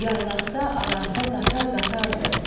Yaylaqda, aranda qatar-qatardır.